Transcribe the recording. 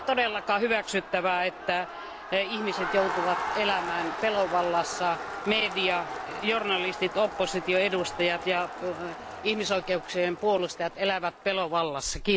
Ei ole todellakaan hyväksyttävää, että ihmiset joutuvat elämään pelon vallassa, että media, journalistit, opposition edustajat ja ihmisoikeuksien puolustajat elävät pelon vallassa.